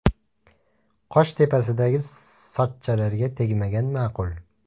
Qosh tepasidagi sochchalarga tegmagan ma’qul.